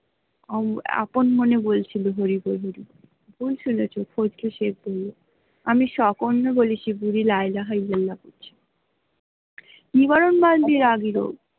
আপন মনে বলছিল বুড়ি